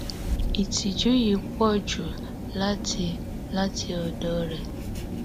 ìtújú yìí pọ jù láti láti ọdọ rẹ